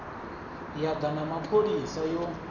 ya da na mapholisa yo